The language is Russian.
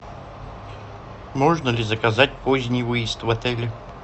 можно ли заказать поздний выезд в отеле